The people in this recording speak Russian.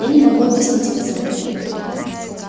я не могу объяснить хозяин